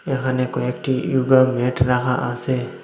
এখানে কয়েকটি yoga mat রাখা আছে।